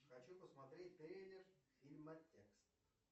хочу посмотреть трейлер фильма текст